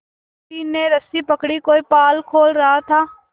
किसी ने रस्सी पकड़ी कोई पाल खोल रहा था